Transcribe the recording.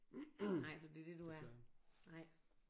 Nej så det er det du er nej